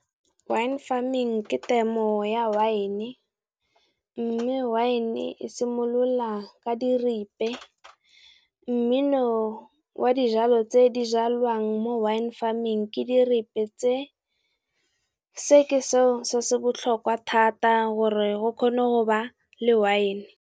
Wine farming ke temo ya wine, mme wine e simolola ka diripe, mmino wa di jalo tse di jalwang mo wine farming ke diripe se ke seo se se botlhokwa thata gore go kgone go ba le wine.